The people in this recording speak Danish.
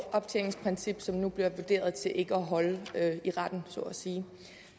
optjeningsprincip som nu bliver vurderet til ikke at holde i retten så at sige